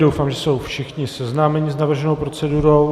Doufám, že jsou všichni seznámeni s navrženou procedurou.